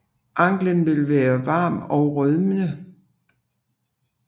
Anklen vil være varm og rødmende